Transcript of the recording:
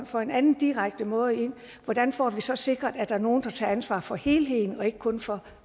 for en anden direkte måde hvordan får vi så sikret at der er nogen der tager ansvaret for helheden og ikke kun for